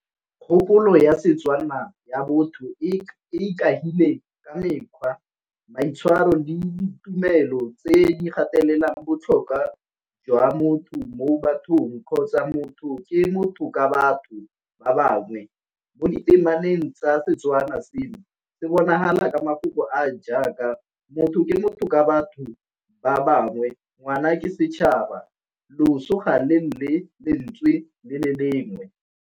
Kgopolo ya Setswana ya botho e ikaegile ka mekgwa, maitshwaro, le ditumelo tse di gatelelang botlhokwa jwa motho mo bathong kgotsa motho ke motho ka batho ba bangwe. Mo di temaneng tsa Setswana sengwe se bonagala ka mafoko a jaaka motho ke motho ka batho ba bangwe ngwana ke setšhaba losong ga le lele lentswe le le lengwe.